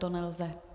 To nelze.